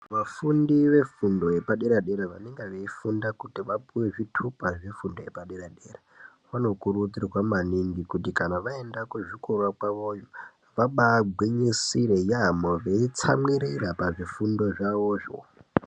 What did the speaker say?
Vafundi vefundo yepadera dera vanenga veifunda kuti vapiwe zvitupa zvefundo yepadera dera. Vanokurudzirwa maningi kuti kana vaenda kuzvikora kwavoyo, vabagwinyisira yaamho veitsamwirira pazvifundo zvavozvo.